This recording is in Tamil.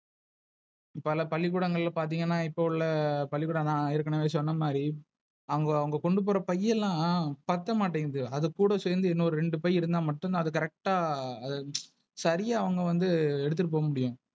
பல பள்ளிக்கூடங்களல பாத்திங்கன்னா இப்ப உள்ள பள்ளிக்கூட தான் ஏற்கனவே சொன்ன மாதிரி, அவங்க அங்க கொண்டு போற பையல்லாம் பத்த மாட்டேங்குது, அது கூட சேந்து இன்னும் ரெண்டு பை இருந்தா மட்டும் தான் Correct ஆஹ் சரியா அவங்க வந்து எடுத்துக்குட்டு போக முடியும்.